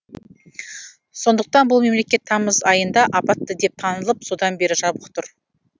сондықтан бұл мемлекет тамыз айында апатты деп танылып содан бері жабық тұр